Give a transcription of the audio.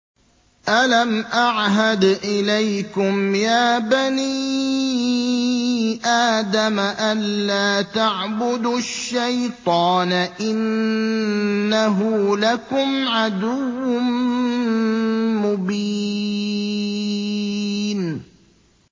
۞ أَلَمْ أَعْهَدْ إِلَيْكُمْ يَا بَنِي آدَمَ أَن لَّا تَعْبُدُوا الشَّيْطَانَ ۖ إِنَّهُ لَكُمْ عَدُوٌّ مُّبِينٌ